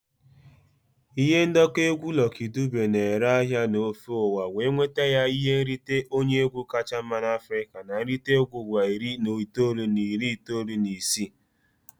Ihe ndekọ egwu Lucky Dube na-ere ahịa n'ofe ụwa wee nweta ya ihe nrite onye egwu kacha mma n'Africa na nrite egwu ụwa iri na itoolu na iri itoolu na isii.